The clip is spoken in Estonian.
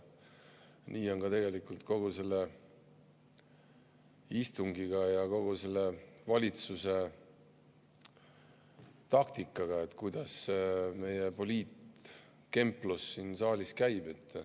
Nii on ka tegelikult kogu selle istungiga ja kogu selle valitsuse taktikaga, kuidas meie poliitkemplus siin saalis käib.